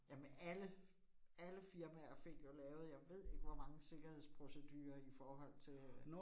Jamen alle, alle firmaer fik jo lavet jeg ved ikke hvor mange sikkerhedsprocedurer i forhold til øh